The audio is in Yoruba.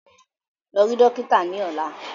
Lọ rí dókítà ni ọ̀la!